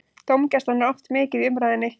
Dómgæslan er oft mikið í umræðunni.